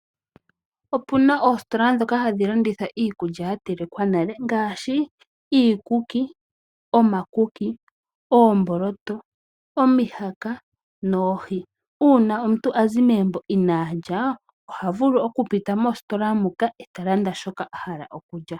Opuna oositola dhoka hadhi landitha iikulya ya telekwa nale, ngaashi iikuki, omakuki, oomboloto, omihaka noohi. Uuna omuntu a zi megumbo ina lya oha vulu okupita mositola moka, e ta landa shoka a hala okulya.